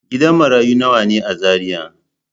Gidan marayu nawa ne a Zariya?